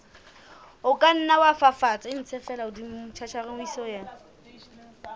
o ka nna wa fafatsa